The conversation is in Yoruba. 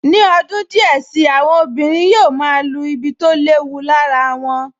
Ní ọdún díẹ̀ sí i, àwọn obìnrin yóò máa lu ibi tó léwu lára wọn